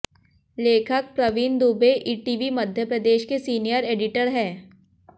लेखक प्रवीण दुबे ईटीवी मध्यप्रदेश के senior editor हैं